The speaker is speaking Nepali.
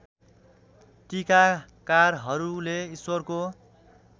टीकाकारहरूले ईश्वरको